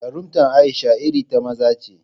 Jarumtar Aisha irin ta maza ce